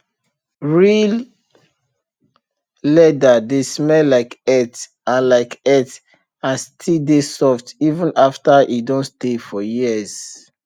real leather dey smell like earth and like earth and still dey soft even after e don stay for years